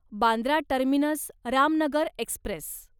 Bandra terminus Ramnagar Express